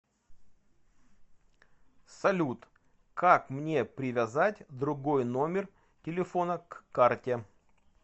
салют как мне привязать другой номер телефона к карте